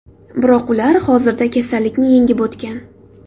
Biroq ular hozirda kasallikni yengib o‘tgan.